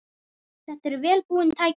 Þetta eru vel búin tæki.